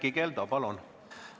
Erkki Keldo, palun!